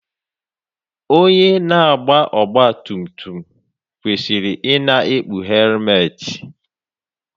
Onye na-agba ọgbatumtum kwesịrị ị na-ekpu helmetị.